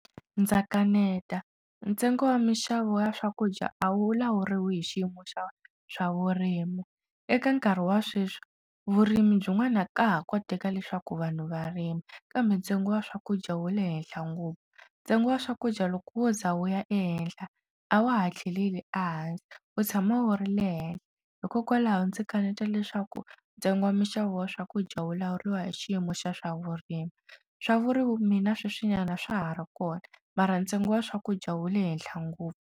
Ndza kaneta ntsengo wa minxavo ya swakudya a wu lawuriwi hi xiyimo xa swavurimi eka nkarhi wa sweswi vurimi byin'wana ka ha koteka leswaku vanhu varima kambe ntsengo wa swakudya wu le henhla ngopfu ntsengo wa swakudya loko wo za wu ya ehenhla a wa ha tlheleli ehansi wu tshama wu ri le henhla hikokwalaho ndzi kaneta leswaku ntsengo wa minxavo ya swakudya wu lawuriwa hi xiyimo xa swavurimi swa vurimi mina sweswinyana swa ha ri kona mara ntsengo wa swakudya wu le henhla ngopfu.